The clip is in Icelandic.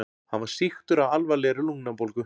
Hann var sýktur af alvarlegri lungnabólgu.